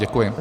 Děkuji.